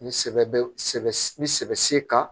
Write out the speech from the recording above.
Ni sɛbɛ bɛ sɛbɛ n bɛ sɛbɛ kan